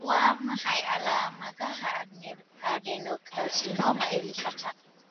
Waa maxay calaamadaha adenocarcinoma ee lifaaqa?